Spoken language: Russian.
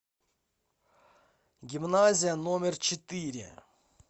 гимназия номер четыре